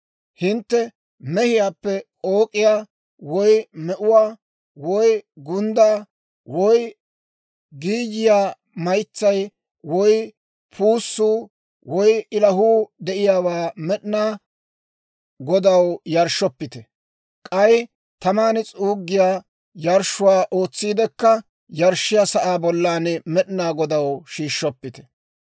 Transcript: Hintte mehiyaappe k'ook'iyaa, woy me'uwaa, woy gunddaa, woy giiyiyaa maytsay, woy puussuu, woy ilahuu de'iyaawaa Med'inaa Godaw yarshshoppite; k'ay taman s'uuggiyaa yarshshuwaa ootsiidekka yarshshiyaa sa'aa bollan Med'inaa Godaw shiishshoppite.